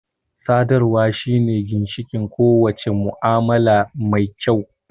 Sadarwa shine ginshiƙin ko wace mu'amala mai kyau